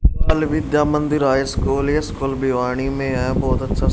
बाल Vidya Mandir high school ये school Bhiwadi में है बहोत अच्छा--